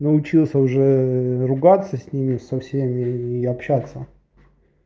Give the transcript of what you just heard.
научился уже ругаться с ними со всеми и общаться